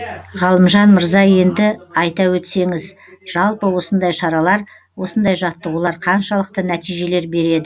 ғалымжан мырза енді айта өтсеңіз жалпы осындай шаралар осындай жаттығулар қаншалықты нәтижелер береді